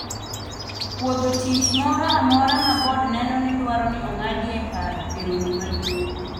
pwodho tich moro amora ma bod neno ni dwaro ni ong'adi e paro e romo maduong'